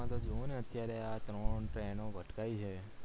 જોવોને અત્યારે આ ત્રણ train ઓ ભટકાયી છે